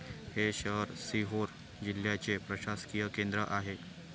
हे शहर सिहोर जिल्ह्याचे प्रशासकीय केंद्र आहे.